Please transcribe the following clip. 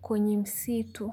kwenye msitu.